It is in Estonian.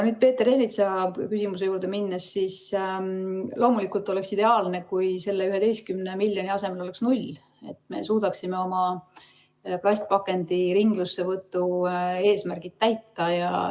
Peeter Ernitsa küsimuse juurde minnes: loomulikult oleks ideaalne, kui selle 11 miljoni asemel oleks null, et me suudaksime oma plastpakendite ringlussevõtu eesmärgid täita.